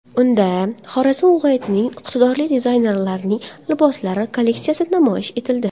Unda Xorazm viloyatining iqtidorli dizaynerlarining liboslar kolleksiyasi namoyish etildi.